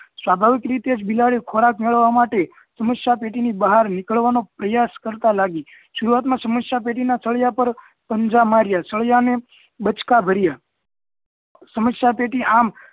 સ્વાભાવિક રીતે જ બિલાડી ખોરાક મેળવવા માટે સમસ્યા પેટી બહાર નીકળવા નો પ્રયાસ કરતાં લાગી સરૂઆત માં સમસ્યા પેટી નાં તળિયા પર પંજા માર્યા સળિયા ને બચકા ભર્યા